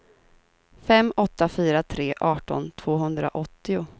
fem åtta fyra tre arton tvåhundraåttio